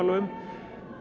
um